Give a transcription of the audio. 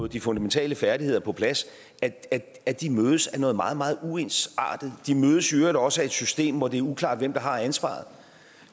de fundamentale færdigheder på plads at de mødes af noget meget meget uensartet de mødes i øvrigt også af et system hvor det er uklart hvem der har ansvaret